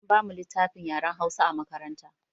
An ba mu littafin yaren Hausa a makaranta.